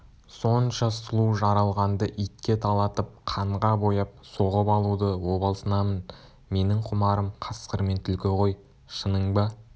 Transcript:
сонша сұлу жаралғанды итке талатып қанға бояп соғып алуды обалсынамын менің құмарым қасқыр мен түлкі ғой шының ба